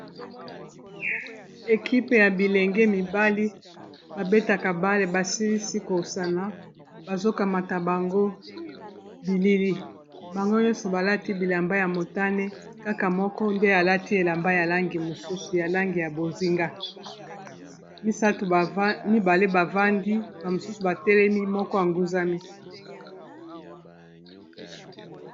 Ekipe ya bilenge mibali babetaka bale basilisi kosana bazo kamata bango bilili bango nyonso balati bilamba ya motane kaka moko nde alati elamba ya langi mosusu ya langi ya bozinga mibale bavandi ba misusu batelemi moko a nguzami.